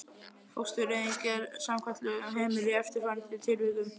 Fóstureyðing er samkvæmt lögunum heimil í eftirfarandi tilvikum